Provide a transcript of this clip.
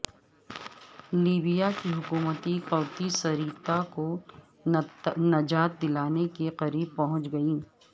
Libya کی حکومتی قوتیں صیرطہ کو نجات دلانے کے قریب پہنچ گئیں